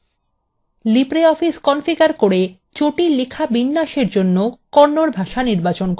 libreoffice configure করে জটিল লেখা বিন্যাসের জন্য kannada ভাষা নির্বাচন করুন